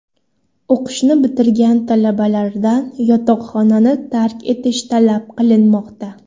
O‘qishni bitirgan talabalardan yotoqxonani tark etish talab qilinmoqda.